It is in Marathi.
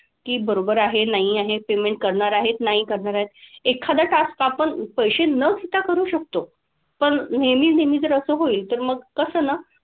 की बरोबर आहे नाही आहे, payment करणार आहेत, नाही करणार आहेत. एखादा task आपण पैसे न घेता करू शकतो. पण नेहमी नेहमी जर असं होईल तर मग कसं ना.